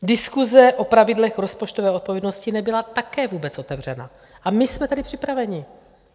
Diskuse o pravidlech rozpočtové odpovědnosti nebyla také vůbec otevřena a my jsme byli připraveni.